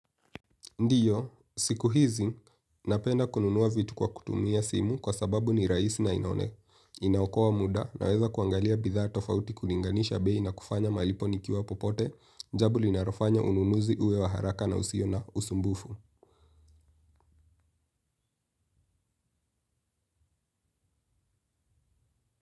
Ndiyo, siku hizi, napenda kununua vitu kwa kutumia simu kwa sababu ni rahisi na inaokoa muda naweza kuangalia bidhaa tofauti kulinganisha bei na kufanya malipo nikiwa popote, jambo linalofanya ununuzi uwe wa haraka na usio na usumbufu.